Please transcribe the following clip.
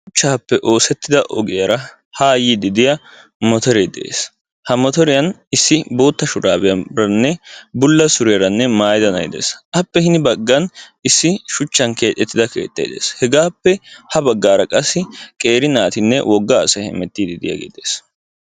Shuchchappe oosettida ogiyaara ha yiidi de'iya motoree de'ees. Ha motoriyan issi bootta shurabiyaranne maayida na'ay de'ees. Appe hin baggan issi shuchchan keexxetida de'ees. Hegappe gin baggaara qassi qeeri naatinne wogga asay heemetiidi de'iyaage de'ees.